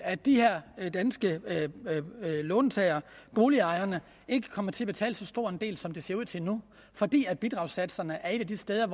at de her danske låntagere boligejerne ikke kommer til at betale så stor en del som det ser ud til nu fordi bidragssatserne er et af de steder